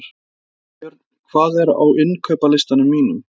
Hafbjörg, hvað er á innkaupalistanum mínum?